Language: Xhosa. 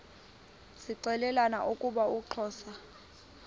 zixelelana ukuba uxhosa